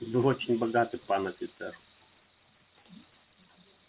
вы очень богаты пан офицер